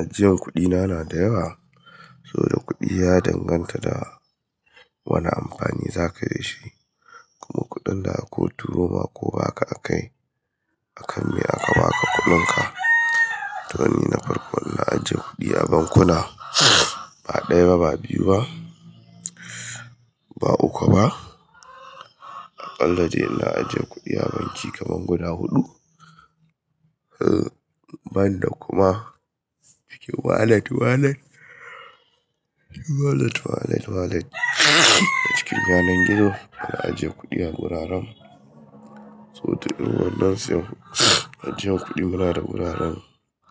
Ajiye kuɗi na na da yawa, so da kuɗi ya danganta da wani amfani za ka yi da shi, kuma kuɗin da aka turo ma ko baka akayi, a kan me aka ba ka kuɗinka. To ni na farko na ajiye kuɗi a bankuna, ba ɗaya ba, ba biyu ba, ba uku ba, a ƙalla dai na ajiye kuɗi a banki kaman guda huɗu. Banda kuma cikin wallet, wallet, cikin wallet, wallet, wallet a cikin yanar gizo. Na ajiye kuɗi a wuraren, so ta inu wannan sai ajiyan kuɗi muna da wuraren